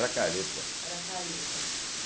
Era careta. era careta